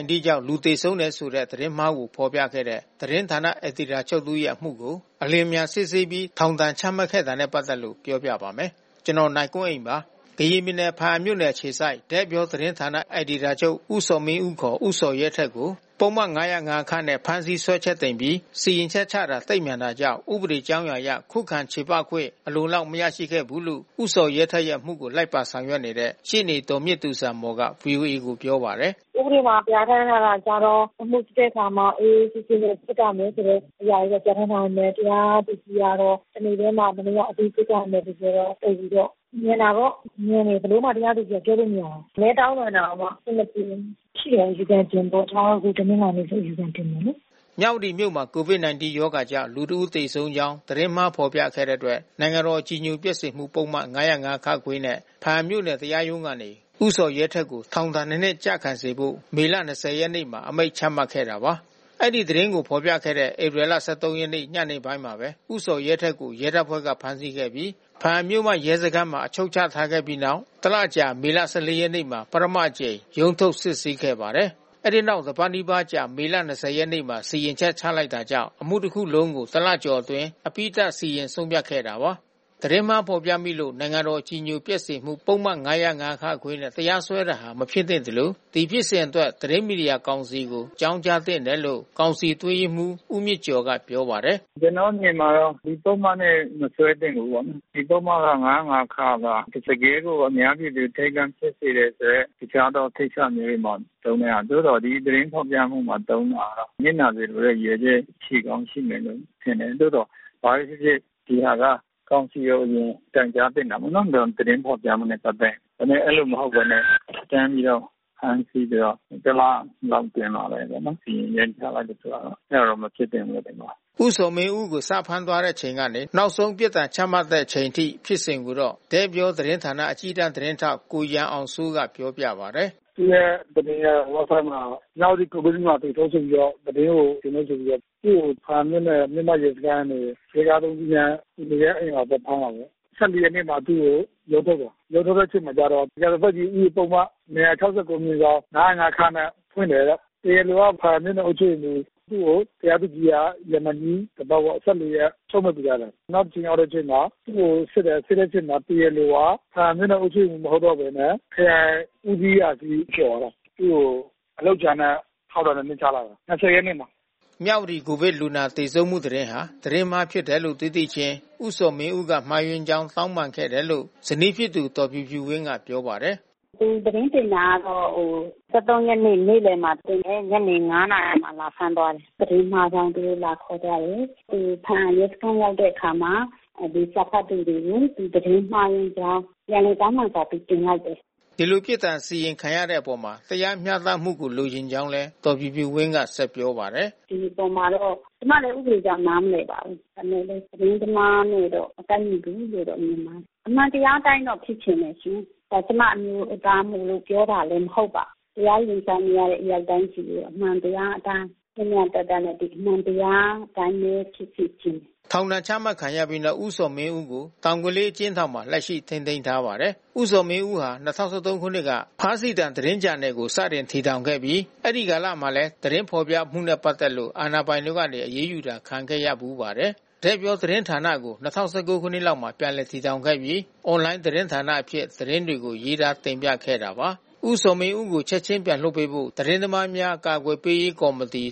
-19 ကြောင့် လူသေဆုံးတယ်ဆိုတဲ့ သတင်းမှားကို ဖော်ပြခဲ့တဲ့ သတင်းဌာန အယ်ဒီတာချုပ်တဦးရဲ့အမှုကို အလျင်အမြန်စစ်ဆေးပြီး ထောင်ဒဏ်ချမှတ်ခဲ့တာနဲ့ ပတ်သက်လို့ နိုင်ကွန်းအိန်က တင်ပြပေးထားပါတယ်။ ကရင်ပြည်နယ်၊ ဘားအံမြို့အခြေစိုက် တဲ့ပြောသတင်းဌာန အယ်ဒီတာချုပ် ဦးဇော်မင်းဦး ဦးဇော်ရဲထက်ကို ပုဒ်မ ၅၀၅ နဲ့ ဖမ်းဆီး စွဲချက်တင်ပြီး စီရင်ချက်ချတာ သိပ်မြန်တာကြောင့် ဥပဒေကြောင်းအရ ခုခံချေပခွင့် အလုံအလောက် မရခဲ့ဘူးလို့ ဦးဇော်ရဲထက်ရဲ့အမှုကို လိုက်ပါဆောင်ရွက်ပေးနေတဲ့ ရှေ့နေ ဒေါ်မြင့်သူဇာမော်က ဗွီအိုအေကို ပြောပါတယ်။ “ဥပဒေမှာ ပြဋ္ဌာန်းထားတာကတော့ အမှုစစ်တဲ့အခါမှာ အေးအေးဆေးဆေးနဲ့ စစ်ပါ့မယ်ဆိုတဲ့ အရာတွေနဲ့ ပြဋ္ဌာန်းထားပေမယ့် တရားသူကြီးကတော့ တနေ့တည်းမှာ ဘယ်နှစ်ယောက် အပြီးစစ်ပါ့မယ်ဆိုတော့ သိပ်ပြီးတော့ မြန်တာပေါ့။ မြန်တယ် တရားသူကြီးကို ဘယ်လိုမှ ပြောလို့မရဘူး။ မနည်းတောင်းပန်တောင်မှ အဆင်မပြေဘူး။ ရှိတယ် အယူခံတင်ဖို့။ ကျမတို့ ဒီတနင်္လာနေ့ အယူခံတင်မယ်လေ။” မြဝတီမြို့မှာ COVID-19 ရောဂါကြောင့် လူတဦးသေဆုံးကြောင်း သတင်းမှား ဖော်ပြခဲ့တဲ့အတွက် နိုင်ငံတော်အကြည်ညိုပျက်စေမှု ပုဒ်မ ၅၀၅ နဲ့ ဘားအံမြို့နယ် တရားရုံးကနေ ဦးဇော်ရဲထက်ကို ထောင်ဒဏ် ၂ နှစ် ကျခံစေဖို့ မေလ ၂၀ ရက်နေ့မှာ အမိန့်ချမှတ်ခဲ့တာပါ။ အဲဒီသတင်းကို ဖော်ပြခဲ့တဲ့ ဧပြီလ ၁၃ ရက်နေ့ ညနေပိုင်းမှာပဲ ဦးဇော်ရဲထက်ကို ရဲတပ်ဖွဲ့က ဖမ်းဆီးခဲ့ပြီး ဘားအံမြို့မ ရဲစခန်းမှာ အချုပ်ချထားခဲ့ပြီးတဲ့နောက် တလအကြာ မေလ ၁၄ ရက်နေ့မှာ ပထမအကြိမ် ရုံးထုတ်စစ်ဆေးပါတယ်။ အဲဒီနောက် တပတ်နီးပါးအကြာ မေလ ၂၀ ရက်နေ့မှာ စီရင်ချက်ချလိုက်တာကြောင့် အမှုတခုလုံးကို တလကျော်ကျော်အတွင်း အပြီးသတ် စီရင်ဆုံးဖြတ်ခဲ့တာပါ။ သတင်းမှားဖော်ပြမိလို့ နိုင်ငံတော်အကြည်ညိုပျက်စေမှု ပုဒ်မ ၅၀၅ နဲ့ တရားစွဲတာဟာ မဖြစ်သင့်သလို ဒီဖြစ်စဉ်အတွက် သတင်းမီဒီယာကောင်စီကို အကြောင်းကြားသင့်တယ်လို့ ကောင်စီအတွင်းရေးမှူး ဦးမြင့်ကျော်က ပြောပါတယ်။ “ကျနော့်အမြင်မှာတော့ ဒီပုဒ်မနဲ့ မစွဲသင့်ဘူးပေါ့နော်။ ဒီပုဒ်မက ၅၀၅ က တကယ့်ကို အများပြည်သူ အထိတ်တလန့် ဖြစ်စေတဲ့အတွက် တခြားသောကိစ္စမျိုးတွေ သုံးတဲ့ဟာ။ သို့သော် ဒီသတင်းထုတ်ပြန်မှုမှာ သုံးတာ နစ်နာစေလိုတဲ့ ရည်ရွယ်ချက် ရှိကောင်းရှိမယ်လို့ ထင်တယ်။ သို့သော် ဘာပဲဖြစ်ဖြစ် ဒီဟာက ကောင်စီကို အရင်တိုင်ကြားသင့်တယ်ပေါ့နော်။ သတင်းဖော်ပြမှုနဲ့ ပတ်သက်ရင်။ ဒါပေမယ့် အဲဒီလိုမဟုတ်ဘဲနဲ့ တန်းပြီးတော့ ဖမ်းဆီးပြီးတော့ တလလောက်အတွင်းမှာပဲပေါ့နော် စီရင်ချက်ချလိုက်တာ အဲဒါတော့ မဖြစ်သင့်ဘူးထင်ပါတယ်။” ဦးဇော်မင်းဦးကို စဖမ်းသွားတဲ့အချိန်ကနေ နောက်ဆုံး ပြစ်ဒဏ်ချမှတ်လိုက်တဲ့ အချိန်ထိ ဖြစ်စဉ်ကိုတော့ တဲ့ပြောသတင်းဌာန အကြီးတန်းသတင်းထောက် ကိုရန်အောင်စိုးက ပြောပြပါတယ်။ “သူ့သတင်းဝက်ဘ်ဆိုက်မှာ မြဝတီ ကိုဗစ်လူနာ သေဆုံးဆိုပြီးတော့ သတင်းကိုတင်တယ် ဆိုပြီးတော့ သူ့ကို ဘားအံမြို့နယ် မြို့မရဲစခန်းကနေ ရဲသား ၃ ဦးနဲ့ သူနေတဲ့အိမ်မှာ သွားဖမ်းတာပေါ့။ ၁၄ ရက်နေ့မှာ သူ့ကို ရုံးထုတ်တယ်။ ရုံးထုတ်တဲ့အချိန်ကျတော့ ရာဇသတ်ကြီး ဥပဒေပုဒ်မ ၂၆၉/၅၀၅ နဲ့ဖွင့်တယ်။ တရားလိုက ဘားအံမြို့နယ် အုပ်ချုပ်ရေးမှူး။ သူ့ကို တရားသူကြီးက ရမန်ကြီးတပတ်ပေါ့ ၁၄ ရက်ချုပ်မိန့်ပေးထားတယ်။ နောက်ရက်ချိန်းရောက်တဲ့ အချိန်မှာ သူ့ကိုစစ်တယ်။ စစ်တဲ့အချိန်မှာ တရားလိုက ဘားအံမြို့နယ် အုပ်ချုပ်ရေးမှူး မဟုတ်တော့ဘဲနဲ့ ခရိုင်ဦးစီးအရာရှိ ဖြစ်သွားတယ်။ သူ့ကို အလုပ်ကြမ်းနဲ့ထောင်ဒဏ် ၂ နှစ်ချလိုက်တယ်။ ၂၀ ရက်နေ့မှာ။” မြဝတီ ကိုဗစ်လူနာ သေဆုံးမှုသတင်းဟာ သတင်းမှားဖြစ်တယ်လို့ သိသိချင်း ဦးဇော်မင်းဦးက မှားယွင်းကြောင်း တောင်းပန်ခဲ့တယ်လို့ ဇနီးဖြစ်သူ ဒေါ်ဖြူဖြူဝင်းက ပြောပါတယ်။ “ဒီသတင်းတင်တာကတော့ ၁၃ ရက်နေ့ နေ့လယ်လောက်မှာ တင်တယ်။ ညနေ ၅ နာရီလောက်မှာ လာဖမ်းသွားတယ်။ သတင်းမှားကြောင့် သူတို့လာခေါ်သွားတယ်။ သူ ဘားအံရဲစခန်း ရောက်တဲ့အခါမှာ စာဖတ်သူတွေကို သူ သတင်းမှားယွင်းကြောင်း ပြန်လည်တောင်းပန်စာ သူတင်လိုက်တယ်။” အခုလို ပြစ်ဒဏ်စီရင်ခံရတဲ့အပေါ် တရားမျှတမှု လိုချင်ကြောင်းလည်း ဒေါ်ဖြူဖြူဝင်းက ပြောပါတယ်။ “ဒီအပေါ်မှာတော့ ကျမလည်း ဥပဒေအကြောင်း နားမလည်ပါဘူး။ ဒါပေမယ့် သတင်းသမားနဲ့တော့ မကိုက်ညီဘူးလို့ မြင်ပါတယ်။ အမှန်တရားအတိုင်းတော့ ဖြစ်ချင်တယ်ရှင်။ ကျမအမျိုးသားမို့လို့ ပြောတာမဟုတ်ပါဘူး။ တရားရင်ဆိုင်နေရတဲ့ အယောက်တိုင်းဆီကို အမှန်တရားအတိုင်း မျှမျှတတနဲ့ အမှန်တရားအတိုင်းပဲ ဖြစ်စေချင်တယ်။” ထောင်ဒဏ်ချမှတ်ပြီးတဲ့နောက် ဦးဇော်မင်းဦးကို တောင်ကလေးအကျဉ်းထောင်မှာ လက်ရှိ ထိန်းသိမ်းထားပါတယ်။ ဦးဇော်မင်းဦးဟာ ၂၀၁၃ ခုနှစ်မှာ ဖားစည်သံ သတင်းဂျာနယ်ကို စတင်တည်ထောင်ခဲ့ပြီး အဲဒီကာလမှာလည်း သတင်းဖော်ပြမှုနဲ့ ပတ်သက်လို့ အာဏာပိုင်တွေကနေ အရေးယူတာ ခံခဲ့ရဖူးပါတယ်။ တဲ့ပြောသတင်းဌာနကို ၂၀၁၉ ခုနှစ်လောက်မှာ ပြန်လည်တည်ထောင်ခဲ့ပြီး အွန်လိုင်းသတင်းဌာနအဖြစ် သတင်းတွေကို ရေးသားတင်ပြခဲ့တာပါ။ ဦးဇော်မင်းဦးကို ချက်ချင်း ပြန်လွှတ်ပေးဖို့ သတင်းသမားများ အကာအကွယ်ပေးရေး ကော်မတီ